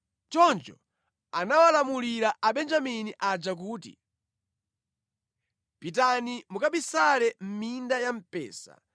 Choncho anawalamulira Abenjamini aja kuti, “Pitani mukabisale mʼminda ya mpesa